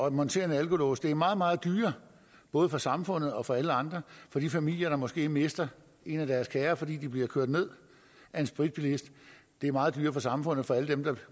at montere en alkolås det er meget meget dyrere både for samfundet og for alle andre for de familier der måske mister en af deres kære fordi de bliver kørt ned af en spritbilist det er meget dyrere for samfundet og for alle dem der